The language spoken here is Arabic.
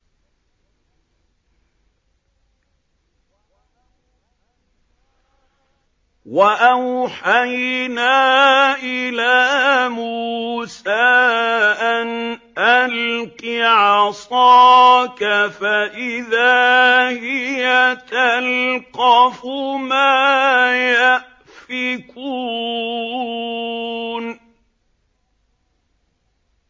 ۞ وَأَوْحَيْنَا إِلَىٰ مُوسَىٰ أَنْ أَلْقِ عَصَاكَ ۖ فَإِذَا هِيَ تَلْقَفُ مَا يَأْفِكُونَ